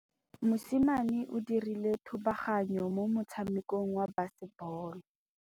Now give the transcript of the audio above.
Mosimane o dirile thubaganyô mo motshamekong wa basebôlô.